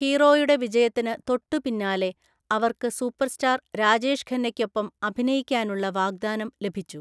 ഹീറോയുടെ വിജയത്തിന് തൊട്ടുപിന്നാലെ അവർക്ക് സൂപ്പർസ്റ്റാർ രാജേഷ് ഖന്നയ്‌ക്കൊപ്പം അഭിനയിക്കാനുള്ള വാഗ്ദാനം ലഭിച്ചു.